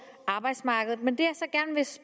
arbejdsmarkedet men det